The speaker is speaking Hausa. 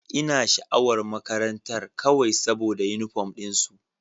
Ina sha'awar makarantar kawai saboda uniform din su.